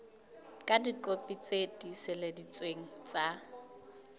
ka dikopi tse tiiseleditsweng tsa